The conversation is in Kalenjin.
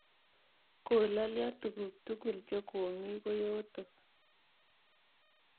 Kolalyo tuguk tukul che komi koyotok.